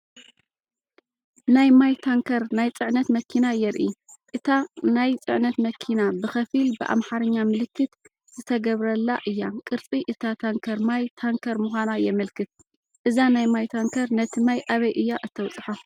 ናይ ማይ ታንከር ናይ ጽዕነት መኪና የርኢ። እታ ናይ ጽዕነት መኪና ብኸፊል ብኣምሓርኛ ምልክት ዝተገብረላ እያ። ቅርጺ እታ ታንከር ማይ ታንከር ምዃና የመልክት። እዛ ናይ ማይ ታንከር ነቲ ማይ ኣበይ እያ እተብጽሖ?